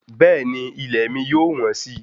Bẹ́ẹ̀ni ilẹ̀ mi yóò wọ́n si